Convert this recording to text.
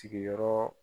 Sigiyɔrɔ